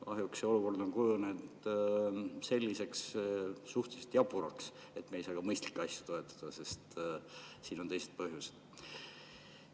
Kahjuks see olukord on kujunenud selliseks suhteliselt jaburaks, et me ei saa ka mõistlikke asju toetada, sest mängus on teised põhjused.